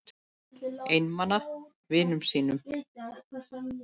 Einmana vinum mínum.